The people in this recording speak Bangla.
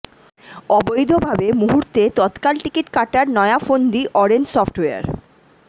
অবৈধভাবে মুহূর্তে তৎকাল টিকিট কাটার নয়া ফন্দি অরেঞ্জ সফটওয়্যার